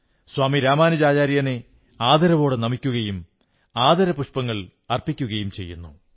സ്വാമി രാമാനുജാചാര്യനെ ആദരവോടെ നമിക്കുകയും ആദരപുഷ്പങ്ങൾ സമർപ്പിക്കയും ചെയ്യുന്നു